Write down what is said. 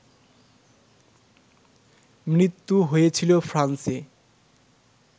মৃত্যু হয়েছিল ফ্রান্সে